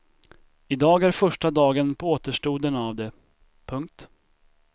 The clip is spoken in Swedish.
I dag är första dagen på återstoden av det. punkt